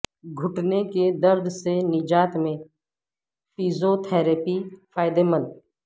گھٹنے کے درد سے نجات میں فیزوتھراپی فائدہ مند